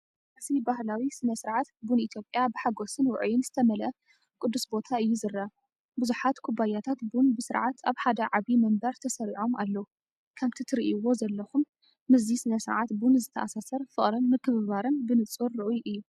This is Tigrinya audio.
እዚ ባህላዊ ስነ-ስርዓት ቡን ኢትዮጵያ ብሓጎስን ውዑይን ዝተመልአ ቅዱስ ቦታ እዩ ዝረአ። ቡዝሓት ኩባያታት ቡን ብስርዓት ኣብ ሓደ ዓቢ መንበር ተሰሪዖም ኣለዉ። ከምቲ ትርእይዎ ዘለኹም ምስዚ ስነ-ስርዓት ቡን ዝተኣሳሰር ፍቕርን ምክብባርን ብንጹር ርኡይ እዩ።